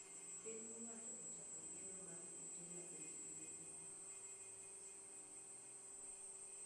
Piny owacho ochako gedo mag ute mabech gi nipiny